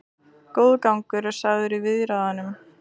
Góður gangur er sagður í viðræðunum